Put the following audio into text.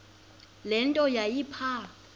le nto yayipha